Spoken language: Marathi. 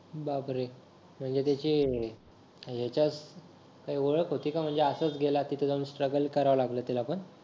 बापरे म्हणजे त्याची ह्याच्यात काही ओळख होती का म्हणजे आसच गेला तिथ जाऊन स्ट्रगल करायला लागल त्याला पण